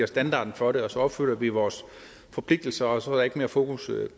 standarden for det og så opfylder vi vores forpligtelser og så er der ikke mere fokus